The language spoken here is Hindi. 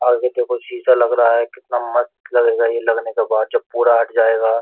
आगे देखो शीशा लग रहा है कितना मस्त लगेगा ये लगने के बाद जब पूरा हट जाएगा।